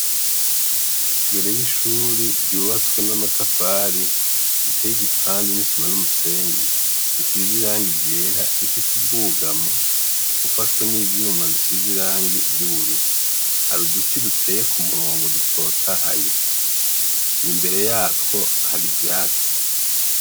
Imbere y'ishuri ryubatswe n'amatafari riteye igipande n'isima n'umusenyi bisize irangi ryera. Rifise ubwugamo bufashwe n'ivyuma bisize irangi ry'ubururu. Hari uduti duteye ku murongo dutotahaye. Imbere yatwo hari ivyatsi.